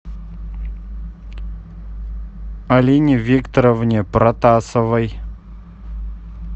алине викторовне протасовой